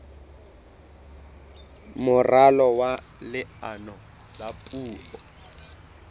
moralo wa leano la puo